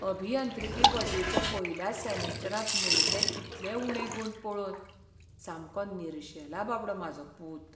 अभियांत्रिकी पदवेच्या पयल्याच सॅमिस्टरांत मेळिल्ले इतले उणे गूण पळोवन सामको निर्शेला बाबडो म्हाजो पूत.